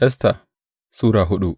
Esta Sura hudu